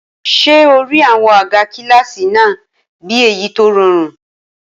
Ṣé o rí àwọn àga kílásì náà bí èyí tó rọrùn?